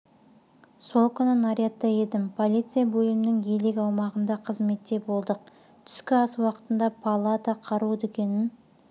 сол күні нарядта едім полиция бөлімінің елек аумағында қызметте болдық түскі ас уақытында паллада қару дүкенін